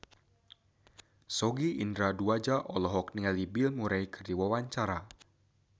Sogi Indra Duaja olohok ningali Bill Murray keur diwawancara